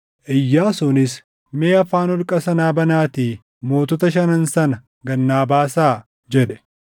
Iyyaasuunis, “Mee afaan holqa sanaa banaatii mootota shanan sana gad naa baasaa” jedhe.